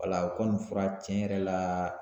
Wala o kɔni fura tiɲɛ yɛrɛ la